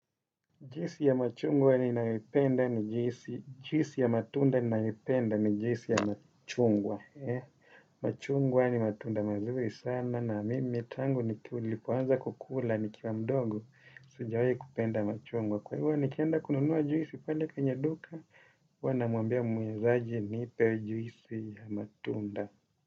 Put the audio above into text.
Juisi ya machungwa ninayoipenda ni juisi ya matunda ninayoipenda ni juisi ya machungwa. Machungwa ni matunda mazuri sana na mimi tangu nilipoanza kukula nikiwa mdogo sijawai kupenda machungwa. Kwa hivyo nikenda kununuwa juisi pale kwenye duka, huwa namwambia muuzaji nipe juisi ya matunda.